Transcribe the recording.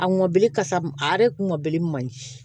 A mɔbili kasa ma a yɛrɛ ŋɔbili man ɲi